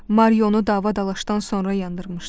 Marionu dava-dalaşdan sonra yandırmışdı.